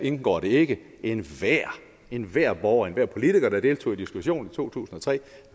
indgår det ikke men enhver borger enhver politiker der deltog i diskussionen i to tusind og tre